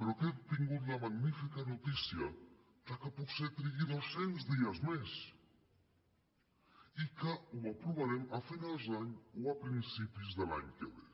però que hem tingut la magnífica notícia de que potser trigui dos cents dies més i que ho aprovarem a finals d’any o a principis de l’any que ve